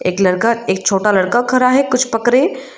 एक लड़का एक छोटा लड़का खड़ा है कुछ पकड़े।